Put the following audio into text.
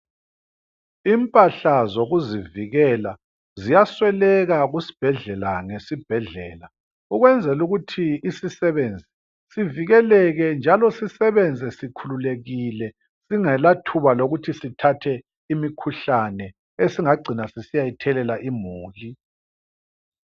Impahla zokuzivikela ziyasweleka kusibhedlela ngesibhedlela ukwenzela ukuthi isisebenzi sivikeleke njalo sisebenze sikhululekile singela thuba lokuthi sithathe imikhuhlane esingagcina sisiyayithelela imuli.